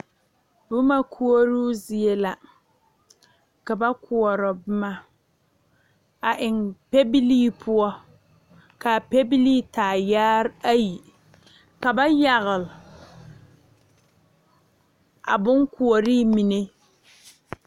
Boma koɔroo zie la ka ba koɔrɔ boma a eŋ pɛbilii poɔ kaa pɛbilii taa yaare ayi ka ba yagle a bonkoɔree mine.